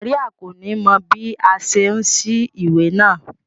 Maria ko ni mọ bi a ṣe n sí ìwé náà.